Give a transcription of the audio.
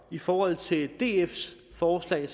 i forhold til dfs forslag